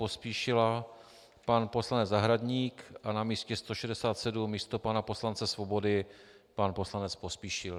Pospíšila pan poslanec Zahradník a na místě 167 místo pana poslance Svobody pan poslanec Pospíšil.